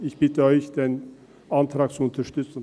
Ich bitte Sie, den Antrag zu unterstützen.